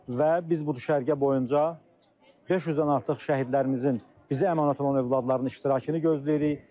Və biz bu düşərgə boyunca 500-dən artıq şəhidlərimizin, bizi əmanət olan övladların iştirakını gözləyirik.